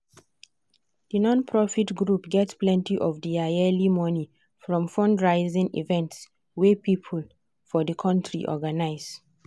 the non-profit group get plenty of their yearly money from fundraising events wey people for the community organize.